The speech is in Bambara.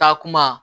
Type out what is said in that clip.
Taa kuma